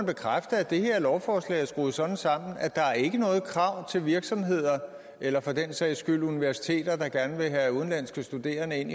bekræfte at det her lovforslag er skruet sådan sammen at der ikke er noget krav til virksomheder eller for den sags skyld universiteter der grad vil have udenlandske studerende ind